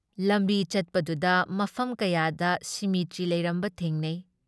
ꯂꯝꯕꯤ ꯆꯠꯄꯗꯨꯗ ꯃꯐꯝ ꯀꯌꯥꯗ ꯁꯤꯃꯤꯇ꯭ꯔꯤ ꯂꯩꯔꯝꯕ ꯊꯦꯡꯅꯩ ꯫